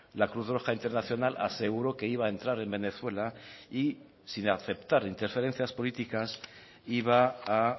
la cruz roja internacional aseguró que iba a entrar en venezuela y sin aceptar interferencias políticas iba a